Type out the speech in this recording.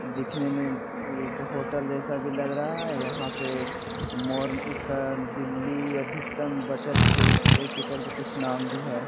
दिखने में एक होटल जैसा भी लग रहा है यहां पे मोर्न इसका दिल्ली अधिकतम बचत ऐसे करके कुछ नाम भी है।